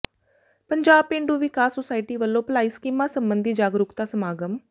ਪੰਜਾਬ ਪੇਂਡੂ ਵਿਕਾਸ ਸੁਸਾਇਟੀ ਵੱਲੋਂ ਭਲਾਈ ਸਕੀਮਾਂ ਸਬੰਧੀ ਜਾਗਰੂਕਤਾ ਸਮਾਗਮ